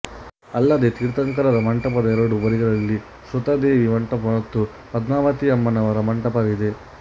ಅಲ್ಲದೆ ತೀರ್ಥಂಕರರ ಮಂಟಪದ ಎರಡೂ ಬದಿಗಳಲ್ಲಿ ಶ್ರುತದೇವಿ ಮಂಟಪ ಮತ್ತು ಪದ್ಮಾವತೀ ಅಮ್ಮನವರ ಮಂಟಪವಿದೆ